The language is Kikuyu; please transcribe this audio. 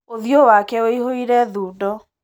ũthiũ wake wĩihũire thundo.